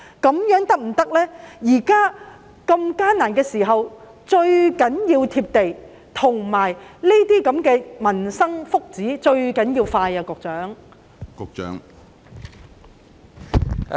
在這個艱難的時候，最重要的是要"貼地"，而涉及民生福祉的措施最重要是速度要快。